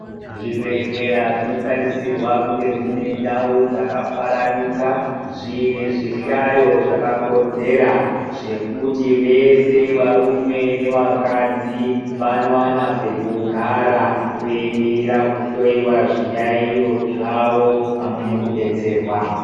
Zvibhedhlera zvinotarisirwa kunga zviine ndau dzakafaranuka, zviine zvihlayo zvakakodzera. Zvekuti vese varume nevakadzi vanowana pekugara, veimirira kuhloiwa zviyayo zvavo pamwe nekubetserwa.